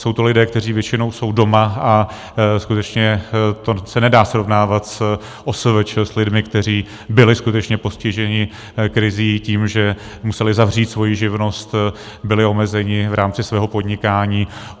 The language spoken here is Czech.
Jsou to lidé, kteří většinou jsou doma, a skutečně se to nedá srovnávat s OSVČ, s lidmi, kteří byli skutečně postiženi krizí, tím, že museli zavřít svoji živnost, byli omezeni v rámci svého podnikání.